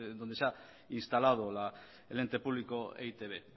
donde se ha instalado el ente público e i te be